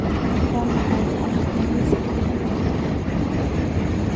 waa maxay alaabta liiskayga ku jira